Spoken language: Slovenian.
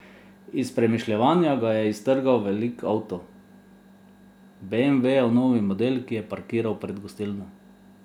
Iz premišljevanja ga je iztrgal velik avto, beemvejev novi model, ki je parkiral pred gostilno.